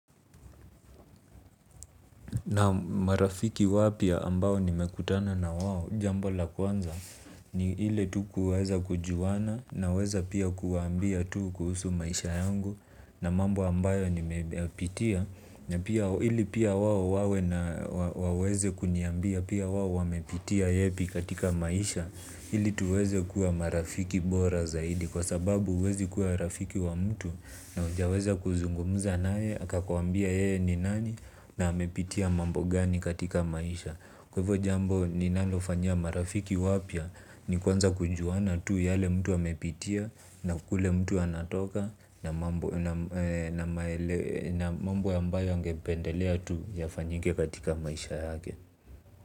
Naam marafiki wapya ambao nimekutana na wao jambo la kwanza ni ile tu kuweza kujuana naweza pia kuwaambia tu kuhusu maisha yangu na mambo ambayo nimeyapitia na pia ili pia wao wawe na waweze kuniambia, pia wao wamepitia yepi katika maisha, ili tuweze kuwa marafiki bora zaidi kwa sababu huwezi kuwa rafiki na mtu wa hujaweza kuzungumza naye na akakuambia yeye ni nani na amepitia mambo gani katika maisha kwaivo jambo ninalofanyia marafiki wapya ni kuanza kujuana tu yale mtu amepitia. Na kule mtu anatoka na mambo na mambo ambayo angependelea tu yafanyike katika maisha yake.